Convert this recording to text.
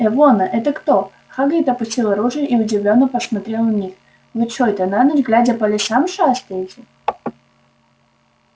эвона это кто хагрид опустил оружие и удивлённо посмотрел на них вы чой-то на ночь глядя по лесам шастаете